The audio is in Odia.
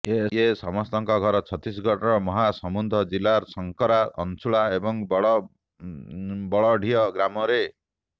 ଏ ସମସ୍ତଙ୍କ ଘର ଛତିଶଗଡ଼ର ମହାସମୁନ୍ଦ ଜିଲ୍ଲାର ସଂକାରା ଅଂଶୁଳା ଏବଂ ବଡ଼ ବଳଦଡିହି ଗ୍ରାମରେ